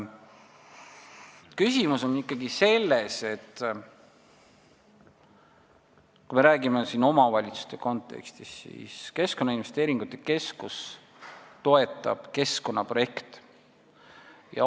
Küsimus on selles, et kui me räägime omavalitsuste kontekstis, siis Keskkonnainvesteeringute Keskus toetab ikkagi keskkonnaprojekte.